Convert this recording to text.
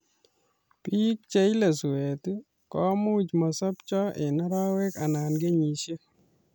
Piik cheile suet komuch masapcho eng arawek anan kenyishek